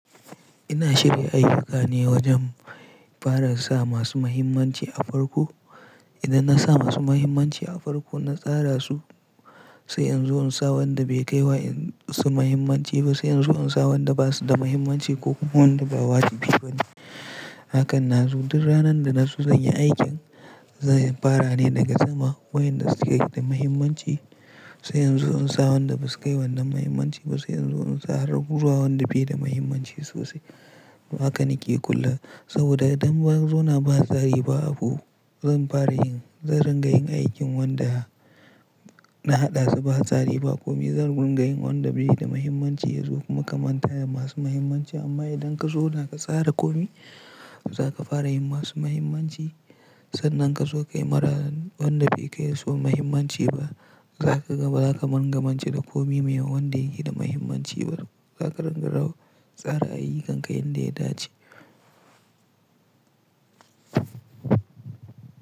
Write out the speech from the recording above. Ina shirya ayuka ne wajen fara sa masu mahimmanci a farko. Idan na sa masu mahimmanci a farko, na tsara su, sai in zo in sa wanda bai kai wa su mahimmanci ba, sai in zo in sa wanda ba su da mahimmanci ko kuma wanda ba waji bi bane. Hakan na zo duk ranar da na so zan yi aikin, zan fara ne daga sama wayanda suke da mahimmanci, sai in zo in sa wanda ba su kai wannan mahimmanci ba, sai in zo in sa har gurawa wanda bai da mahimmanci sosai. Haka na ke kullum saboda idan na zauna ba tsari ba abu zan fara yin, zan ringa yin aikin wanda na haɗa su ba tsari. Komi zan mu ringa yi wanda bai yi da mahimmanci yazo kuma ka manta da masu mahimmanci. Amma idan ka zauna ka tsara komi, zaka fara yi masu mahimmanci. Sannan ka zo ka yi mara wanda bai kai su mahimmanci ba. Za ka gama, zaka magamanci da komi mai wanda ya ke da mahimmanci. Za ka tsara ayyukanka yanda ya dace.